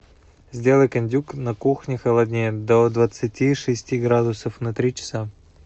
сделай кондюк на кухне холоднее до двадцати шести градусов на три часа